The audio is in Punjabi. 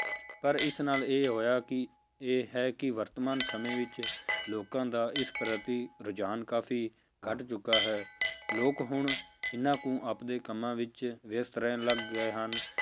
ਪਰ ਇਸ ਨਾਲ ਇਹ ਹੋਇਆ ਕਿ ਇਹ ਹੈ ਕਿ ਵਰਤਮਾਨ ਸਮੇਂ ਵਿੱਚ ਲੋਕਾਂ ਦਾ ਇਸ ਪ੍ਰਤੀ ਰੁਝਾਨ ਕਾਫ਼ੀ ਘੱਟ ਚੁੱਕਾ ਹੈ ਲੋਕ ਹੁਣ ਇੰਨਾ ਕੁ ਆਪਦੇ ਕੰਮਾਂ ਵਿੱਚ ਵਿਅਸ਼ਤ ਰਹਿਣ ਲੱਗ ਗਏ ਹਨ,